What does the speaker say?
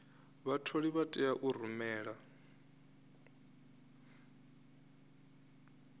vhatholi vha tea u rumela